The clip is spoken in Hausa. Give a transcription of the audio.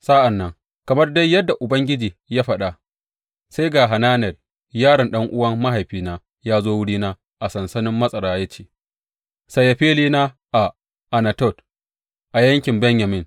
Sa’an nan, kamar dai yadda Ubangiji ya faɗa, sai ga Hananel yaron ɗan’uwan mahaifina ya zo wurina a sansanin matsara ya ce, Saya filina a Anatot a yankin Benyamin.